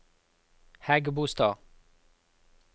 Hægebostad